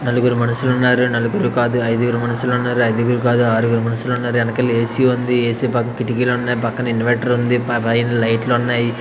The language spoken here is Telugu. నలుగురు మనుషులు ఉన్నారు నలుగురు కాదు ఐదుగురు మనుషులు ఉన్నారు ఐదుగురు కాదు ఆరుగురు మనుషులు ఉన్నారు వెనకాల ఏ_సి ఉంది ఏ_సీ పక్కకు కిటికీలు ఉన్నాయి పక్కన ఇన్వర్టర్ ఉంది పైన లైట్లు ఉన్నాయి.